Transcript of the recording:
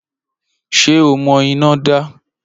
Ṣé o mọ iná dá?